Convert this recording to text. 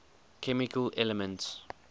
chemical elements